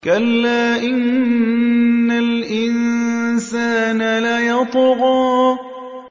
كَلَّا إِنَّ الْإِنسَانَ لَيَطْغَىٰ